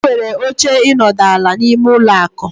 Enwere oche ịnọdụ ala, n'ime ụlọ akụ.